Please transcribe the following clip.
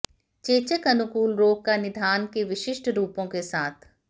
चेचक अनुकूल रोग का निदान के विशिष्ट रूपों के साथ